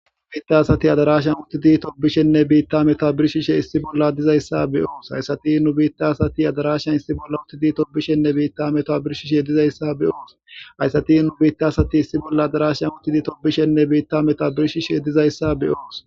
Githa asthi adaaraashen uththidi thobbishenne biiththaa methaa birshshishee issi bolla dizeyssa be7oos; Githa asthi adaaraashen uththidi thobbishenne biiththaa methaa birshshishee issi bolla dizeyssa be7oos; Githa asthi adaaraashen uththidi thobbishenne biiththaa methaa birshshishee issi bolla dizeyssa be7oos; Githa asthi adaaraashen uththidi thobbishenne biiththaa methaa birshshishee issi bolla dizeyssa be7oos.